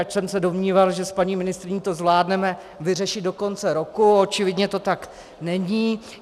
Ač jsem se domníval, že s paní ministryní to zvládneme vyřešit do konce roku, očividně to tak není.